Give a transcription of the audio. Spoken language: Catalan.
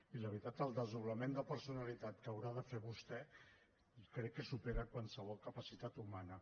i la veritat el desdoblament de personalitat que haurà de fer vostè crec que supera qualsevol capacitat humana